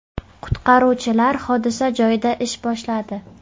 Qutqaruvchilar hodisa joyida ish boshladi.